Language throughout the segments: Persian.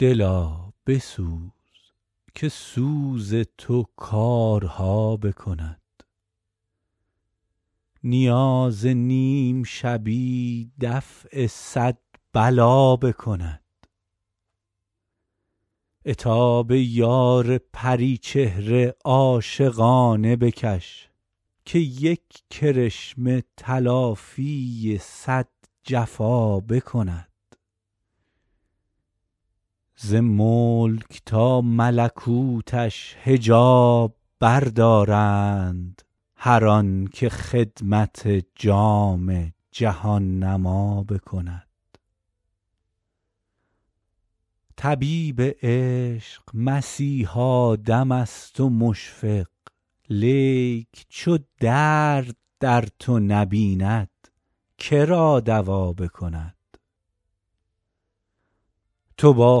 دلا بسوز که سوز تو کارها بکند نیاز نیم شبی دفع صد بلا بکند عتاب یار پری چهره عاشقانه بکش که یک کرشمه تلافی صد جفا بکند ز ملک تا ملکوتش حجاب بردارند هر آن که خدمت جام جهان نما بکند طبیب عشق مسیحا دم است و مشفق لیک چو درد در تو نبیند که را دوا بکند تو با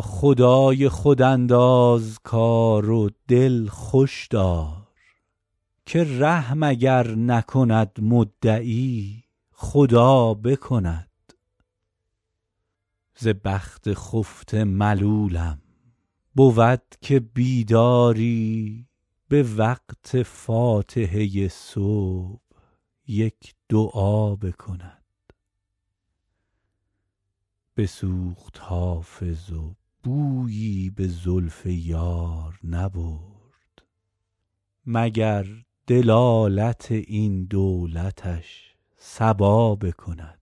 خدای خود انداز کار و دل خوش دار که رحم اگر نکند مدعی خدا بکند ز بخت خفته ملولم بود که بیداری به وقت فاتحه صبح یک دعا بکند بسوخت حافظ و بویی به زلف یار نبرد مگر دلالت این دولتش صبا بکند